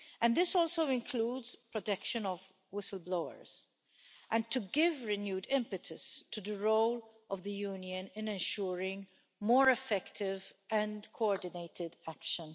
This also includes protection of whistleblowers and to give renewed impetus to the role of the Union in ensuring more effective and coordinated action.